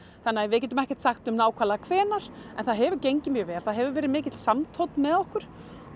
þannig að við getum ekkert sagt um nákvæmlega hvenær en það hefur gengið mjög vel það hefur verið mikill með okkur